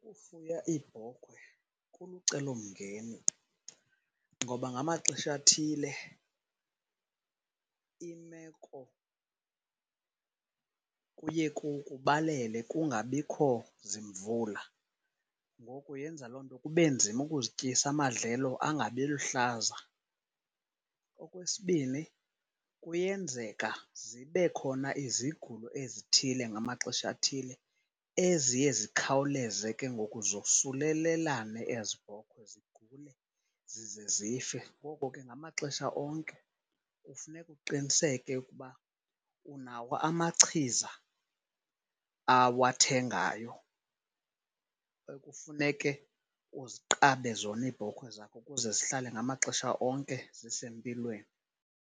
Ukufuya iibhokhwe kulucelomngeni ngoba ngamaxesha athile imeko kuye kubalele kungabikho zimvula. Ngoku yenza loo nto kube nzima ukuzityisa, amadlelo angabiluhlaza. Okwesibini, kuyenzeka zibe khona izigulo ezithile ngamaxesha athile eziye zikhawuleze ke ngoku zosulelelane ezi bhokhwe zigule zize zife. Ngoko ke ngamaxesha onke kufuneka uqiniseke ukuba unawo amachiza awathengayo ekufuneke uziqabe zona iibhokhwe zakho ukuze zihlale ngamaxesha onke zisempilweni.